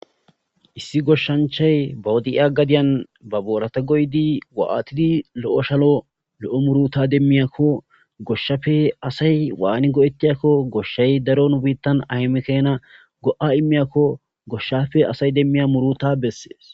issi goshshanchay bawudi7iya gadiyan ba boorata goydi wa7atidi lo7o shalo lo7o muruta demmiyakko goshshafe asay waani go7etiyakko goshshay daro nu biittan ahemekena go7a immiyakko goshshafe asay demmiya muruta bessees